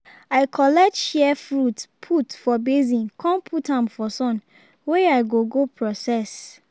i collect shea fruit put for basin con put am for sun wey i go go process